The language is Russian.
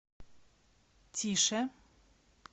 тише